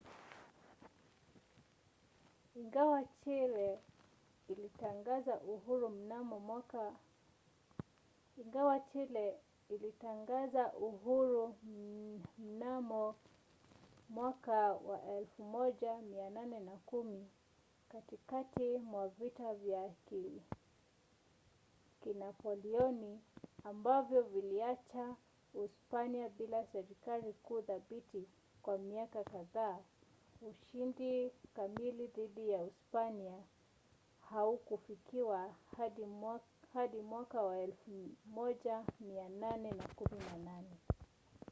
ingawa chile ilitangaza uhuru mnamo 1810 katikati mwa vita vya kinapoleoni ambavyo viliacha uspanya bila serikali kuu thabiti kwa miaka kadhaa ushindi kamili dhidi ya uspanya haukufikiwa hadi 1818